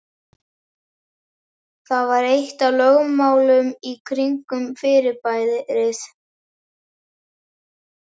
Það var eitt af lögmálunum kringum fyrirbærið.